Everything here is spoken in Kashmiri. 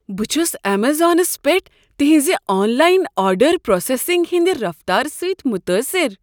بہٕ چھس امیزانس پیٹھ تہنٛز آن لاین آرڈر پروسیسنگ ہندِ رفتار سۭتۍ متٲثر۔